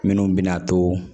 Minnu bɛna to